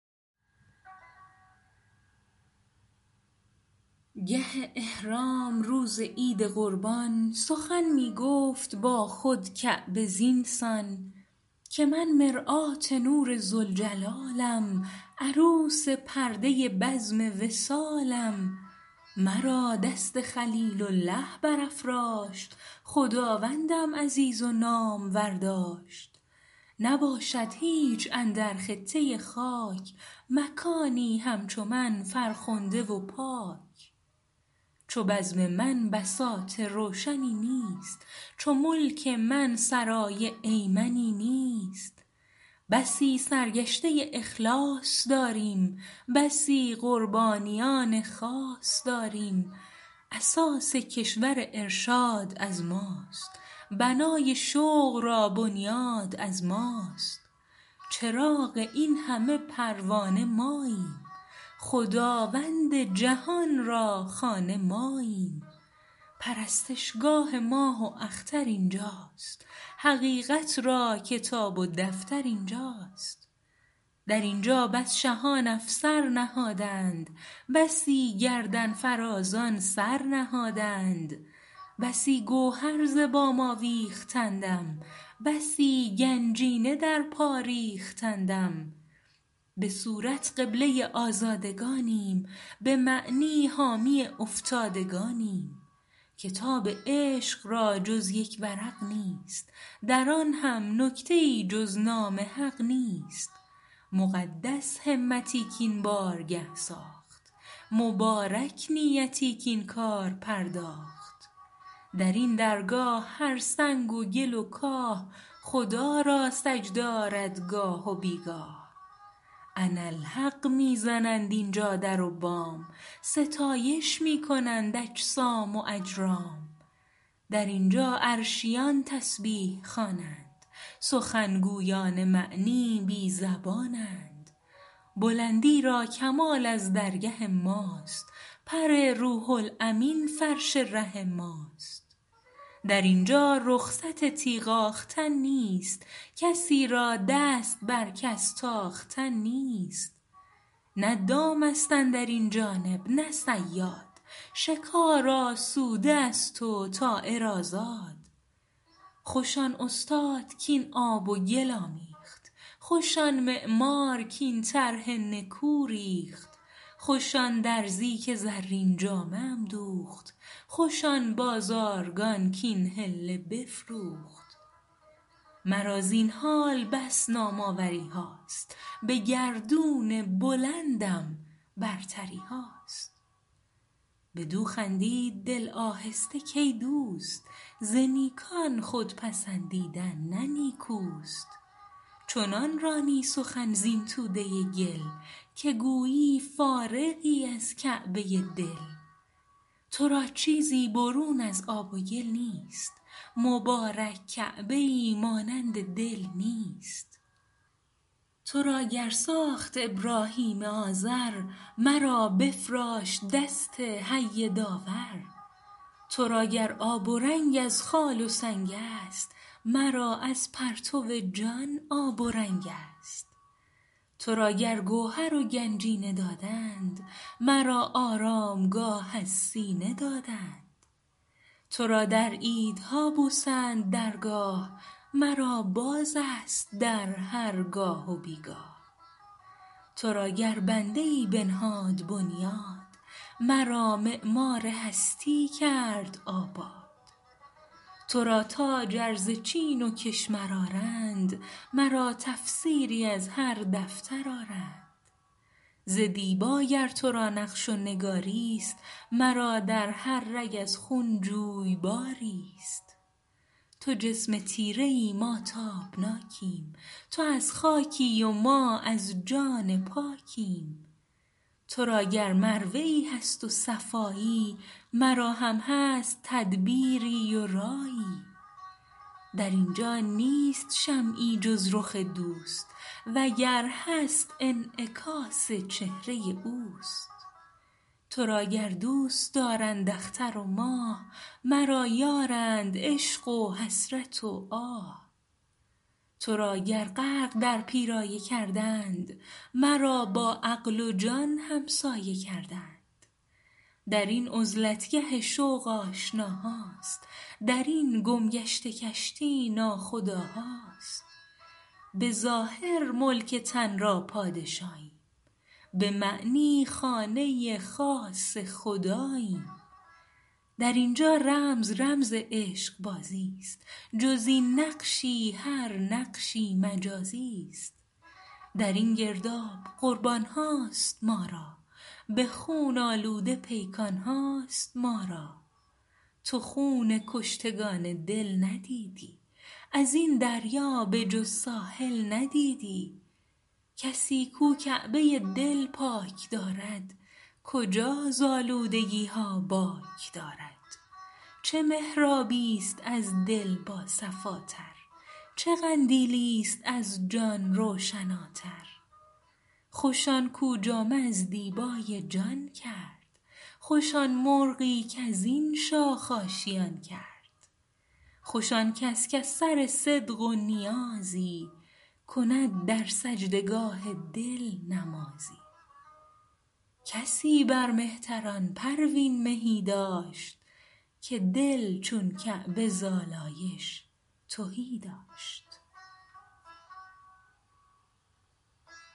گه احرام روز عید قربان سخن میگفت با خود کعبه زینسان که من مرآت نور ذوالجلالم عروس پرده بزم وصالم مرا دست خلیل الله برافراشت خداوندم عزیز و نامور داشت نباشد هیچ اندر خطه خاک مکانی همچو من فرخنده و پاک چو بزم من بساط روشنی نیست چو ملک من سرای ایمنی نیست بسی سرگشته اخلاص داریم بسی قربانیان خاص داریم اساس کشور ارشاد از ماست بنای شوق را بنیاد از ماست چراغ این همه پروانه ماییم خداوند جهان را خانه ماییم پرستشگاه ماه و اختر اینجاست حقیقت را کتاب و دفتر اینجاست در اینجا بس شهان افسر نهادند بسی گردن فرازان سر نهادند بسی گوهر ز بام آویختندم بسی گنجینه در پا ریختندم بصورت قبله آزادگانیم بمعنی حامی افتادگانیم کتاب عشق را جز یک ورق نیست در آن هم نکته ای جز نام حق نیست مقدس همتی کاین بارگه ساخت مبارک نیتی کاین کار پرداخت درین درگاه هر سنگ و گل و کاه خدا را سجده آرد گاه و بیگاه انا الحق میزنند اینجا در و بام ستایش می کنند اجسام و اجرام در اینجا عرشیان تسبیح خوانند سخن گویان معنی بی زبانند بلندی را کمال از درگه ماست پر روح الامین فرش ره ماست در اینجا رخصت تیغ آختن نیست کسی را دست بر کس تاختن نیست نه دام است اندرین جانب نه صیاد شکار آسوده است و طایر آزاد خوش آن استاد کاین آب و گل آمیخت خوش آن معمار کاین طرح نکو ریخت خوش آن درزی که زرین جامه ام دوخت خوش آن بازارگان کاین حله بفروخت مرا زین حال بس نام آوریهاست بگردون بلندم برتریهاست بدوخندید دل آهسته کای دوست ز نیکان خود پسندیدن نه نیکوست چنان رانی سخن زین توده گل که گویی فارغی از کعبه دل ترا چیزی برون از آب و گل نیست مبارک کعبه ای مانند دل نیست ترا گر ساخت ابراهیم آذر مرا بفراشت دست حی داور ترا گر آب و رنگ از خال و سنگ است مرا از پرتو جان آب و رنگ است ترا گر گوهر و گنجینه دادند مرا آرامگاه از سینه دادند ترا در عیدها بوسند درگاه مرا بازست در هرگاه و بیگاه ترا گر بنده ای بنهاد بنیاد مرا معمار هستی کرد آباد ترا تاج ار ز چین و کشمر آرند مرا تفسیری از هر دفتر آرند ز دیبا گر ترا نقش و نگاریست مرا در هر رگ از خون جویباریست تو جسم تیره ای ما تابناکیم تو از خاکی و ما از جان پاکیم ترا گر مروه ای هست و صفایی مرا هم هست تدبیری و رایی درینجا نیست شمعی جز رخ دوست وگر هست انعکاس چهره اوست ترا گر دوستدارند اختر و ماه مرا یارند عشق و حسرت و آه ترا گر غرق در پیرایه کردند مرا با عقل و جان همسایه کردند درین عزلتگه شوق آشناهاست درین گمگشته کشتی ناخداهاست بظاهر ملک تن را پادشاییم بمعنی خانه خاص خداییم درینجا رمز رمز عشق بازی است جز این یک نقش هر نقشی مجازی است درین گرداب قربانهاست ما را بخون آلوده پیکانهاست ما را تو خون کشتگان دل ندیدی ازین دریا به جز ساحل ندیدی کسی کاو کعبه دل پاک دارد کجا ز آلودگیها باک دارد چه محرابی است از دل با صفاتر چه قندیلی است از جان روشناتر خوش آن کو جامه از دیبای جان کرد خوش آن مرغی کازین شاخ آشیان کرد خوش آنکس کز سر صدق و نیازی کند در سجدگاه دل نمازی کسی بر مهتران پروین مهی داشت که دل چون کعبه زالایش تهی داشت